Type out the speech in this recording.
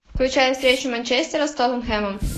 включай встречу манчестера с тоттенхэмом